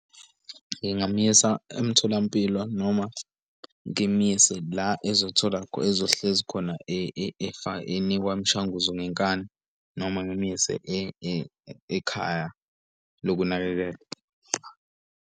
Ngingamyisa emtholampilo noma ngimyise, la ezothola ezohlezi khona enikwa imishanguzo ngenkani noma ngimyise ekhaya lokunakekelwa.